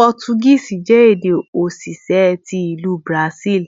Portuguese jẹ ede osise ti Ilu Brazil,